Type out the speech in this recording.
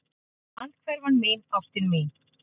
Andhverfan mín, ástin mín.